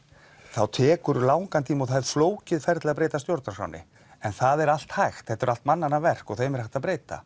þá tekur langan tíma og það er flókið ferli að breyta stjórnarskránni en það er allt hægt þetta eru allt mannanna verk og þeim er hægt að breyta